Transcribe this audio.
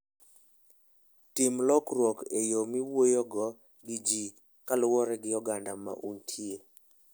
Tim lokruok e yo miwuoyogo gi ji kaluwore gi oganda ma untie.